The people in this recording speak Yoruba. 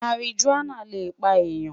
Marijuana le pa eyan